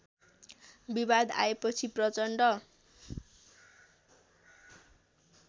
विवाद आएपछि प्रचण्ड